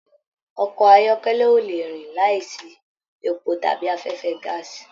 Ọkọ ayọkẹlẹ o lè rìn láì sí èpò tàbí afẹfẹ gàásí.